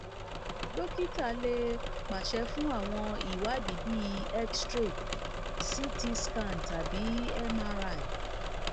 dókítà lè pàṣẹ fún àwọn ìwádìí bíi xray ct scan tàbí mri